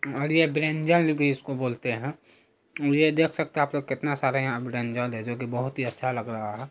और यह ब्रिंजल भी इसको बोलते है की ये देख सकते है आप लोग कितना सारा ब्रिंजल है जो की बहुत अच्छा लग रहा है।